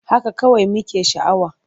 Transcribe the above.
Haka kawai muke sha'awa.